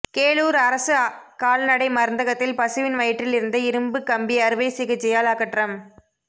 கேளூர் அரசு கால்நடை மருந்தகத்தில் பசுவின் வயிற்றில் இருந்த இரும்பு கம்பி அறுவை சிகிச்சையால் அகற்றம்